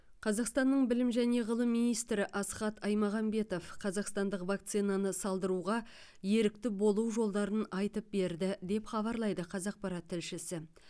қазақстанның білім және ғылым министрі асхат аймағамбетов қазақстандық вакцинаны салдыруға ерікті болу жолдарын айтып берді деп хабарлайды қазақпарат тілшісі